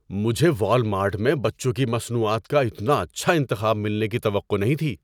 مجھے والمارٹ میں بچوں کی مصنوعات کا اتنا اچھا انتخاب ملنے کی توقع نہیں تھی۔